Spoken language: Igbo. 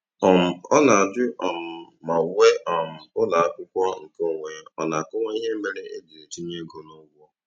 um Ọ na-ajụ um ma uwe um ụlọakwụkwọ nke onwe ọ na-akọwa ihe mere e ji etinye ego n'ụgwọ.